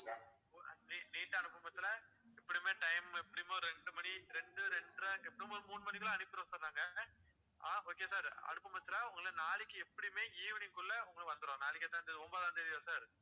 ஆஹ் neat ஆ அனுப்பும் பட்சத்துல எப்படியுமே time எப்படியும் ஒரு ரெண்டு மணி ரெண்டு ரெண்டரை ஒரு மூணு மணிக்குள்ள அனுப்பிருவோம் நாங்க ஆஹ் okay sir அனுப்பும் பட்சத்துல உங்களுக்கு நாளைக்கு எப்படியுமே evening க்குள்ள வந்துடும் நாளைக்கு என்ன தேதி sir ஒன்பதாம் தேதியா sir